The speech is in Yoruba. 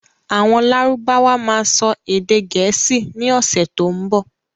Àwọn lárúbáwá máa sọ èdè gẹ̀ẹ́sì ni ọ̀sẹ̀ tó ń bọ̀